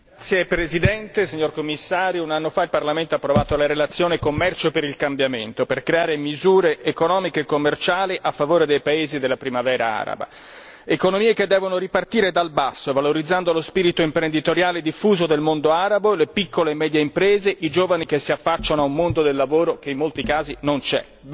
Signora Presidente, onorevoli colleghi, signor Commissario, un anno fa il Parlamento ha approvato la relazione sul Commercio per il cambiamento per creare misure economiche e commerciali a favore dei paesi della Primavera araba. Economie che devono ripartire dal basso valorizzando lo spirito imprenditoriale diffuso del mondo arabo, le piccole e medie imprese, i giovani che si affacciano a un mondo del lavoro che in molti casi non c'è.